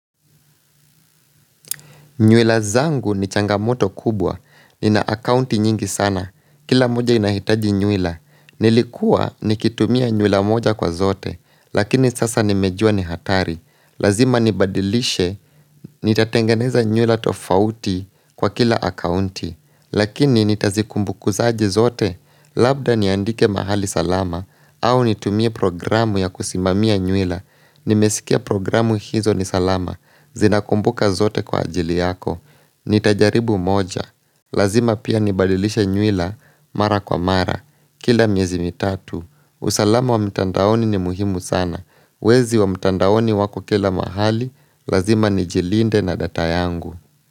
Nywila zangu ni changamoto kubwa. Nina akaunti nyingi sana. Kila mmoja inahitaji nywila. Nilikuwa nikitumia nywila moja kwa zote. Lakini sasa nimejua ni hatari. Lazima nibadilishe. Nitatengeneza nywila tofauti kwa kila akaunti. Lakini nitazikumbukuzaji zote. Labda niandike mahali salama au nitumie programu ya kusimamia nywila. Nimesikia programu hizo ni salama, zinakumbuka zote kwa ajili yako Nitajaribu moja, lazima pia nibalilisha nyuila, mara kwa mara Kila miezi mitatu, usalama wa mtandaoni ni muhimu sana Wezi wa mtandaoni wako kila mahali, lazima nijilinde na data yangu.